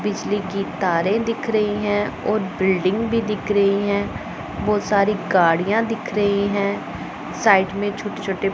बिजली की तारे दिख रही हैं और बिल्डिंग भी दिख रही हैं बहोत सारी गाड़ियां दिख रही हैं साइड में छोटे छोटे--